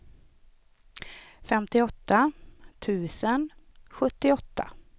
femtioåtta tusen sjuttioåtta